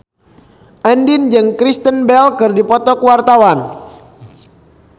Andien jeung Kristen Bell keur dipoto ku wartawan